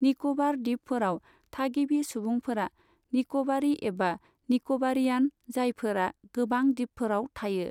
निक'बार दिपफोराव, थागिबि सुबुंफोरा निक'बारि एबा निक'बारियान, जायफोरा गोबां दिपफोराव थायो।